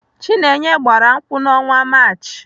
Chinenye gbara nkwụ n'ọnwa Maachị.